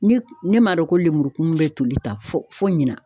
Ne ne m'a dɔn ko lemuru kumun bɛ toli tan fɔ fo ɲina.